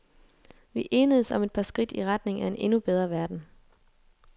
Vi enedess om et par skridt i retning af en endnu bedre verden.